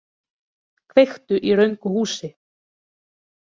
Kveiktu í röngu húsi